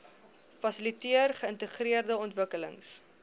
fasiliteer geïntegreerde ontwikkelings